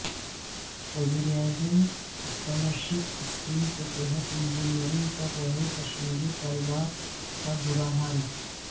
وزیراعظم scholarship scheme کے تحت انجینئرنگ کر رہے کشمیری طلبہ کا برا حال